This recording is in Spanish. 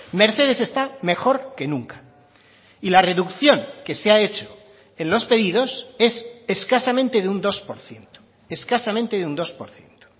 mercedes esta mejor que nunca y la reducción que se ha hecho en los pedidos es escasamente de un dos por ciento escasamente de un dos por ciento